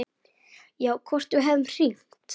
Já, hvort við hefðum hringt.